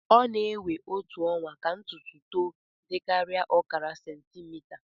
ọ na-ewe otu ọnwa ka ntutu to dịkarịa ọkara sentimita